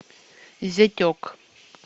зятек